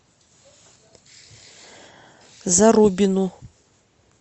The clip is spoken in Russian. зарубину